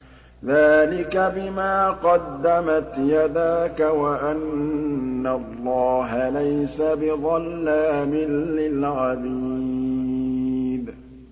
ذَٰلِكَ بِمَا قَدَّمَتْ يَدَاكَ وَأَنَّ اللَّهَ لَيْسَ بِظَلَّامٍ لِّلْعَبِيدِ